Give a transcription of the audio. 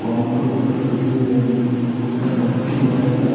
counter को ऊपर खड़ी है नीच ऊपर लट्टू है सात --